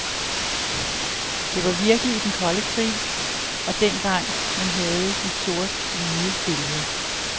Det var virkelig i den kolde krig, og dengang man havde de sort-hvide billeder.